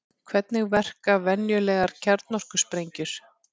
Hvernig verka venjulegar kjarnorkusprengjur?